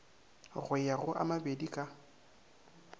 go ya go a mabedika